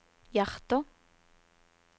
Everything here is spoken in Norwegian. hjerter